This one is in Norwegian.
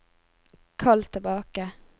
kall tilbake